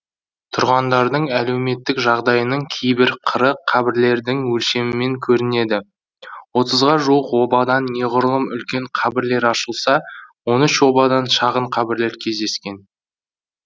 тұрғандардың әлеуметтік жағдайының кейбір қыры қабірлердің өлшемімен көрінеді отызға жуық обадан неғұрлым үлкен қабірлер ашылса он үш обадан шағын қабірлер кездескен